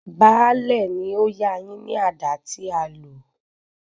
Baálẹ̀ ni ó yá a yín ní àdá tí a lò.